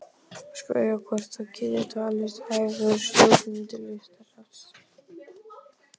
Spyrja hvort það geti talist hæfur stjórnandi Listasafns